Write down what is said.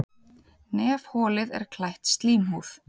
Nefholið er klætt slímhúð.